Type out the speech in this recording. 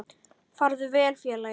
Farðu vel félagi.